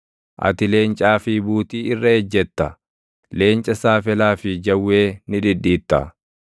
Ati leencaa fi buutii irra ejjetta; leenca saafelaa fi jawwee ni dhidhiitta.